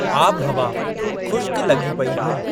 आबिहवा खु़श्क लॻी पेई हुई।